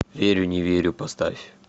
верю не верю поставь